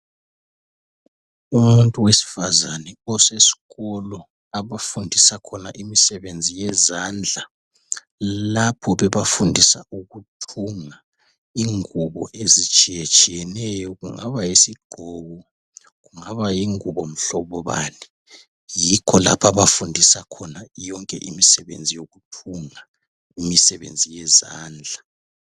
umuntu wesifazane usesikolo lapho abafunisa khona imisebenzi yezandla lapho bebafundisa ukuthunga ingubo ezitshiyetshiyeneyo kungaba yisigqoko kungaba yingubo mhlobo bani yikho lapha abafundisa khona yonke imisebenzi yokuthunga imisebenzi yezandla